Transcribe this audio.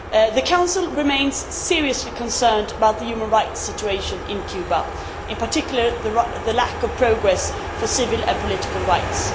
The Council remains seriously concerned about the human rights situation in Cuba, in particular, the lack of progress for civil and political rights.